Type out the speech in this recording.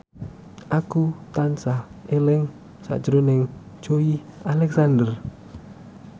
Ayu tansah eling sakjroning Joey Alexander